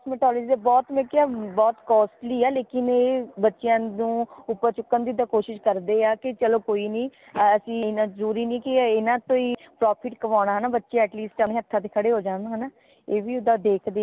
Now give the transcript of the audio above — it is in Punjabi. cosmtolligy ਦੀ ਤੇ ਬਹੁਤ ਨੇ ਕਯਾ ਬਹੁਤ costly ਹੈ ਲੇਕਿਨ ਏ ਬੱਚਿਆਂ ਨੂ ਉਪਰ ਚੁੱਕਣ ਦੀ ਤੇ ਕੋਸ਼ਿਸ਼ ਕਰਦੇ ਹਾ ਕਿ ਚਲੋ ਕੋਈ ਨੀ ਐਸੀ ਇਨਾ ਜ਼ਰੂਰੀ ਨੀ ਕਿ ਇਨਾ ਤੋਂ ਹੀ profit ਕਮਾਉਣਾ ਹੈ ਨਾ ਬੱਚਾ least ਆਪਣੇ ਹੱਥਾਂ ਤੇ ਖੜੇ ਹੋ ਜਾਣ ਏ ਵੀ ਓਦਾਂ ਦੇਖਦੇ ਹੈ